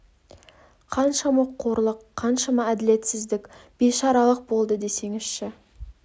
қаншама қорлық қаншама әділетсіздік бейшаралық болды десеңізші